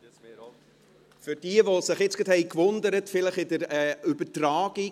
Für diejenigen, die sich jetzt gewundert haben: Es gab keine Pause bei der Übertragung.